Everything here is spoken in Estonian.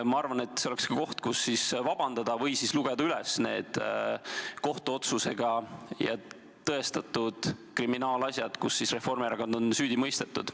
Ma arvan, et see oleks koht, kus vabandust paluda või siis võiks lugeda üles need kohtuotsusega tõestatud kriminaalasjad, mille puhul Reformierakond on süüdi mõistetud.